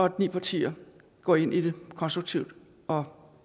at ni partier går ind i det konstruktivt og